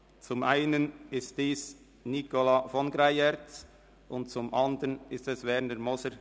Zum einen handelt es sich um Nicola von Greyerz, zum anderen um Werner Moser.